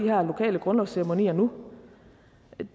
her lokale grundlovsceremonier nu